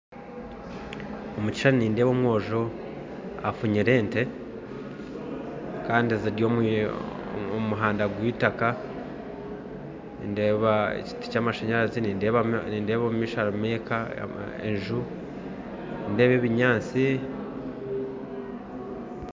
Omukishushani nindeeba omwojo, afunyire ente, kandi ziri omuhanda gweitaka, ndeeba ekiti kyamashanyarazi nindeeba omumaisho harimu eka enju, nindeeba ebinyatsi.